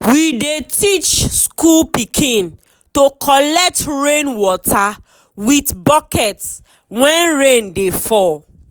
we dey teach school pikin to collect rain water with bucket when rain dey fall.